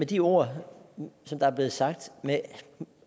de ord der er blevet sagt